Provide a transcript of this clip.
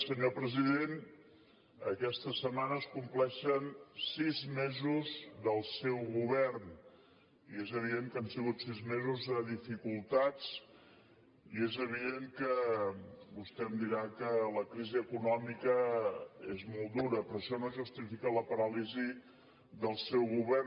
senyor president aquesta setmana es compleixen sis mesos del seu govern i és evident que han sigut sis mesos de dificultats i és evident que vostè em dirà que la crisi econòmica és molt dura però això no justifica la paràlisi del seu govern